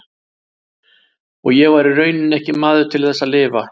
Og ég var í rauninni ekki maður til þess að lifa.